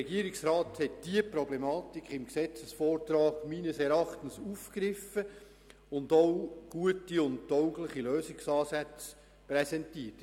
Der Regierungsrat hat die Problematik in der Gesetzesvorlage meines Erachtens aufgegriffen und auch gute und taugliche Lösungsansätze präsentiert.